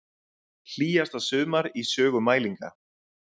Hlýjasta sumar í sögu mælinga